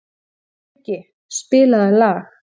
Muggi, spilaðu lag.